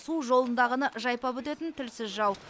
су жолындағыны жайпап өтетін тілсіз жау